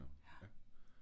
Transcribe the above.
Ja